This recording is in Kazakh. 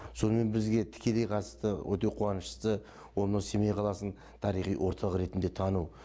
сонымен бізге тікелей қатысты өте қуаныштысы ол мына семей қаласын тарихи орталық ретінде тану